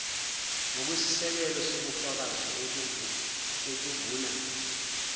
ngokwesisekelo sobufakazi obuvuna